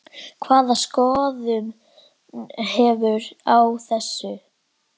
Hvaða skoðun hefurðu á þessu?